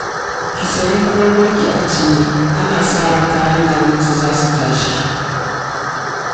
Ki sayi komai ki ajiye, ana sa ran kayan abinci za su tashi